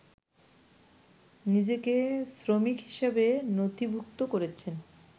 নিজেকে শ্রমিক হিসেবে নথিভূক্ত করেছেন